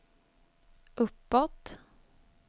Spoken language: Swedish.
uppåt